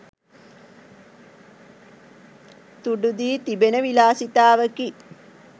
තුඩු දී තිබෙන විලාසිතාවකි